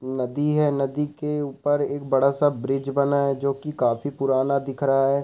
नदी है नदी के ऊपर एक बड़ा-सा ब्रिज बना है जोकि काफी पुराना दिख रहा है।